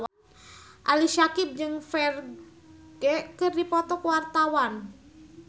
Ali Syakieb jeung Ferdge keur dipoto ku wartawan